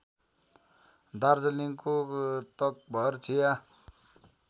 दार्जिलिङको तकभर चिया